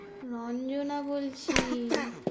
রঞ্জনা বলছি।